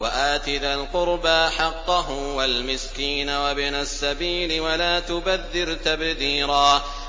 وَآتِ ذَا الْقُرْبَىٰ حَقَّهُ وَالْمِسْكِينَ وَابْنَ السَّبِيلِ وَلَا تُبَذِّرْ تَبْذِيرًا